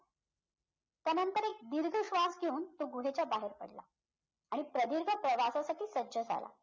त्यानंतर एक दीर्घ श्वास घेऊन तो गुहेच्या बाहेर पडला आणि प्रदीर्घ प्रवासासाठी सज्ज झाला